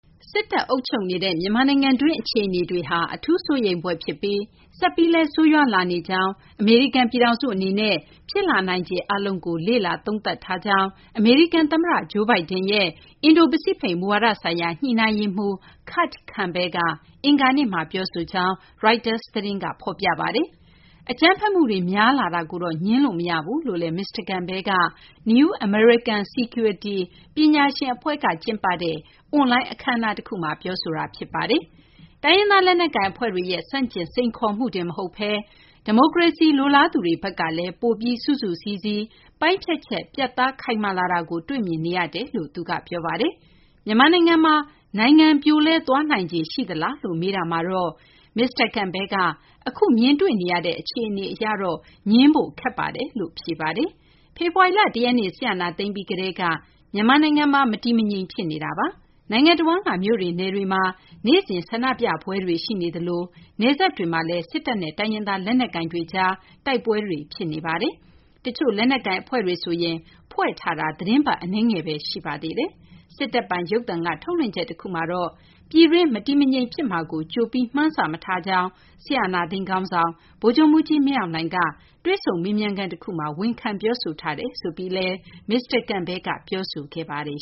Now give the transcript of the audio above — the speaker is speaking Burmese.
စစ်တပ်အုပ်ချုပ်နေတဲ့ မြန်မာနိုင်ငံတွင်း အခြေအနေတွေဟာ အထူး စိုးရိမ်ဖွယ် ဖြစ်ပြီး ဆက်ပြီးလည်း ဆိုးရွားလာနေကြောင်းနဲ့ အမေရိကန် ပြည်ထောင်စု အနေနဲ့ ဖြစ်လာနိုင်ခြေ အားလုံးကို လေ့လာ သုံးသပ်ထားကြောင်း အမေရိကန် သမ္မတ Joe Biden ရဲ့ အင်ဒို ပစိဖိတ် မူဝါဒဆိုင်ရာ ညှိနှိုင်းရေးမှူး Kurt Campbell က အင်္ဂါနေ့မှာ ပြောဆိုကြောင်း Reuters သတင်းက ဖော်ပြပါတယ်။ အကြမ်းဖက်မှုတွေ များလာတာကိုတော့ ငြင်းလို့ မရဘူးလို့လည်း မစ္စတာ Campbell က New American Security ပညာရှင် အဖွဲ့က ကျင်းပတဲ့ အွန်လိုင်း အခမ်းအနား တခုမှာ ပြောဆိုတာ ဖြစ်ပါတယ်။ တိုင်းရင်းသား လက်နက်ကိုင် အဖွဲ့တွေရဲ့ ဆန့်ကျင် စိန်ခေါ်မှုတင် မဟုတ်ဘဲ ဒီမိုကရေစီ လိုလားသူတွေ ဘက်ကလည်း ပိုပြီး စုစုစည်းစည်း၊ ပိုင်းဖြတ်ချက် ပြတ်သား ခိုင်မာလာတာကို တွေ့မြင်နေရတယ်လို့လည်း သူက ပြောပါတယ်။ မြန်မာနိုင်ငံမှာ နိုင်ငံ ပြိုလဲသွားနိုင်ခြေ ရှိလားလို့ မေးတာမှာတော့ မစ္စတာ Campbell က အခု မြင်တွေ့နေရတဲ့ အခြေအနေ အရတော့ ငြင်းဖို့ ခက်ပါတယ်လို့ ဖြေကြားခဲ့ပါတယ်။ ဖေဖော်ဝါရီလ ၁ ရက်နေ့ စစ်အာဏာသိမ်းပြီး ကတည်းက မြန်မာနိုင်ငံမှာ မတည်မငြိမ် ဖြစ်နေတာပါ။နိုင်ငံတဝန်းက မြို့တွေ နယ်တွေမှာ နေ့စဉ် ဆန္ဒပြပွဲတွေ ရှိနေသလို နယ်စပ်တွေမှာလည်း စစ်တပ်နဲ့ တိုင်းရင်းသား လက်နက်ကိုင်တွေကြား တိုက်ပွဲတွေ ဖြစ်နေပါတယ်။ တချို့ လက်နက်ကိုင် အဖွဲ့တွေဆိုရင် ဖွဲ့စည်းတာက သီတင်းပတ် အနည်းငယ်ဘဲ ရှိပါသေးတယ်။ စစ်တပ်ပိုင် ရုပ်သံက ထုတ်လွှင့်ချက် တခုမှာ ပြည်တွင်း မတည်မငြိမ် ဖြစ်မှာကို ကြိုပြီး မှန်းဆ မထားကြောင်း စစ်အာဏာသိမ်း ခေါင်းဆောင် ဗိုလ်ချုပ်မှူးကြီး မင်းအောင်လှိုင်က တွေ့ဆုံမေးမြန်းခန်း တခုမှာ ဝန်ခံ ပြောဆိုထားတယ်ဆိုပြီးလည်း မစ္စတာ Campbell က ပြောဆိုသွားပါတယ်